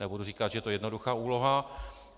Nebudu říkat, že to je jednoduchá úloha.